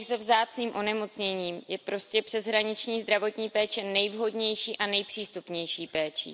těch se vzácným onemocněním, je prostě přeshraniční zdravotní péče nejvhodnější a nejpřístupnější péčí.